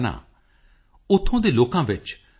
मन चंगा तो कठौती में गंगा